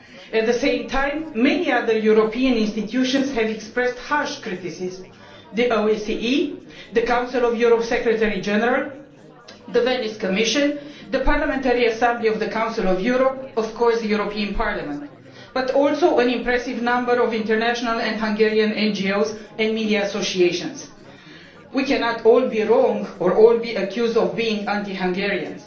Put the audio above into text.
At the same time, many other European institutions have expressed harsh criticism the OSCE, the Council of Europe's Secretary General, the Venice Commission, the Parliamentary Assembly of the Council of Europe and, of course, the European Parliament, as well as an impressive number of international and Hungarian NGOs and media associations. We cannot all be wrong or all be accused of being anti Hungarian,